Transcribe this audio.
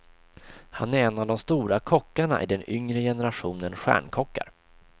Han är en av de stora kockarna i den yngre generationen stjärnkockar.